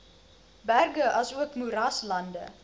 berge asook moeraslande